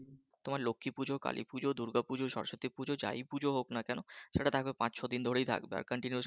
তোমার লক্ষ্মী পূজো কালী পূজো দুর্গা পূজো সরস্বতী পূজো যাই পূজো হোক না কেন সেটা থাকবে পাঁচ ছয় দিন ধরে ই থাকবে continue